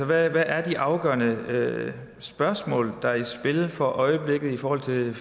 hvad er de afgørende spørgsmål der er i spil for øjeblikket i forhold til hele